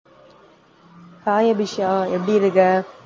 hi Abisha, எப்படி இருக்க?